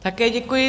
Také děkuji.